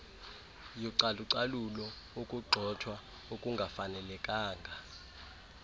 yocalucalulo ukugxothwa okungafanelekanga